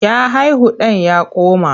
Ya haihu ɗan ya koma.